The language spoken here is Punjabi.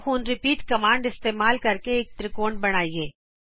ਆਓ ਹੁਣ ਰਿਪੀਟ ਕਮਾਂਡ ਇਸਤੇਮਾਲ ਕਰਕੇ ਇਕ ਤ੍ਰਿਕੋਣ ਬਣਾਈਏ